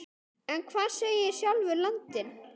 En hvað segir sjálfur landinn?